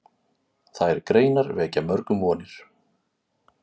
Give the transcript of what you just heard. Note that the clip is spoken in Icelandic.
Þær greinar vekja mörgum vonir.